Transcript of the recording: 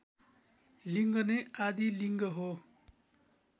लिड्ग नै आदिलिङ्ग हो